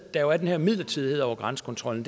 der jo er den her midlertidighed over grænsekontrollen